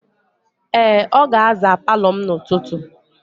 Ee, ọ ga-aza palọ m n'ụtụtụ.